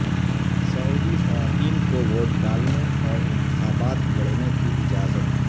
سعودی خواتین کو ووٹ ڈالنے اور انتخابات لڑنے کی اجازت